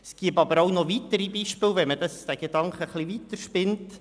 Man fände aber auch noch weitere Beispiele, würde man diesen Gedanken etwas weiterspinnen.